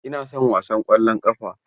Ina son wasan ƙwallon ƙafa.